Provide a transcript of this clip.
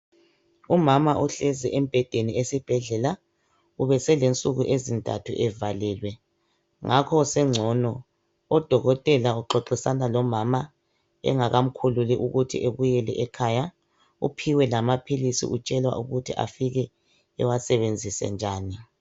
Umama uhlezi embhedeni esibhedlela ubesele nsuku ezintathu evalelwe ngakho sengcono udokotela uxoxisana lomama engaka mkhululi ukuthi ebuyele ekhaya uphiwe lamaphilisi utshelwa ukuthi afike ewasebenzise njani.